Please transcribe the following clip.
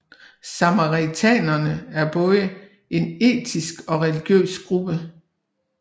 Samaritanerne er både en etnisk og religiøs gruppe